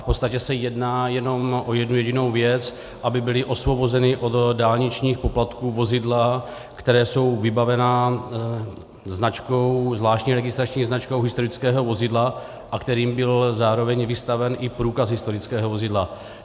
V podstatě se jedná jenom o jednu jedinou věc, aby byla osvobozena od dálničních poplatků vozidla, která jsou vybavena zvláštní registrační značkou historického vozidla a kterým byl zároveň vystaven i průkaz historického vozidla.